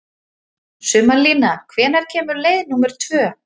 Sumarlína, hvenær kemur leið númer tvö?